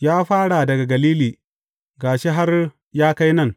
Ya fara daga Galili, ga shi har ya kai nan.